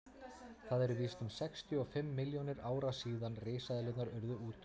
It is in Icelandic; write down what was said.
það eru víst um sextíu og fimm milljónir ára síðan risaeðlurnar urðu útdauðar